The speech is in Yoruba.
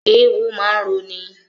Eéwó máa ń roni.